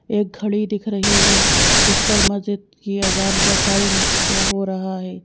एक घड़ी दिख रही है जिसपर मस्जिद की अजान का टाइम शो हो रहा है।